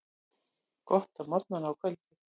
Gott á morgnana og kvöldin.